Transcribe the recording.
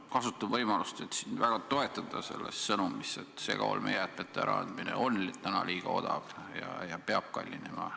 Ma kasutan võimalust, et sind väga toetada selles sõnumis, et segaolmejäätmete äraandmine on liiga odav ja peab kallinema.